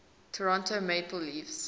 toronto maple leafs